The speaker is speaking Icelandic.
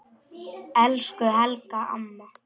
Elsku Helga amma.